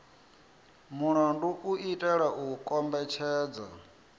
mulandu u itela u kombetshedza